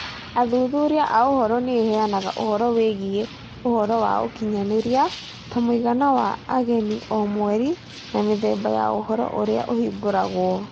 Athuthuria a ũhoro nĩ ĩheanaga ũhoro wĩgiĩ ũhoro wa ũkinyanĩria, ta mũigana wa ageni o mweri na mĩthemba ya ũhoro ũrĩa ũhingũragwo.